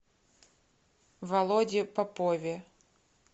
володе попове